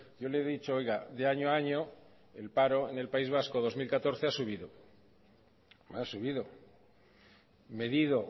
yo le he dicho oiga de año a año el paro en el país vasco dos mil catorce ha subido ha subido medido